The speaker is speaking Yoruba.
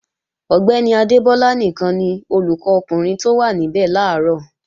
Ọ̀gbẹ́ni Adégbọlá nìkan ni olùkọ́ ọkùnrin tó wá níbẹ̀ làárọ̀